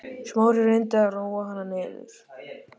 Smári reyndi að róa hana niður.